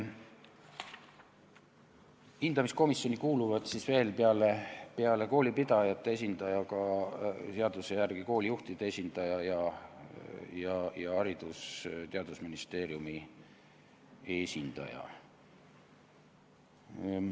Hindamiskomisjoni kuuluvad peale koolipidajate esindaja seaduse järgi ka koolijuhtide esindaja ning Haridus- ja Teadusministeeriumi esindaja.